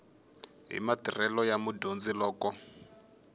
hi matirhelo ya mudyondzi loko